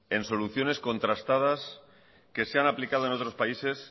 en soluciones contrastadas que se han aplicado en otros países